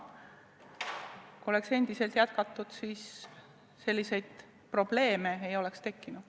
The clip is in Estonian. Kui oleks endiselt jätkatud, siis selliseid probleeme ei oleks tekkinud.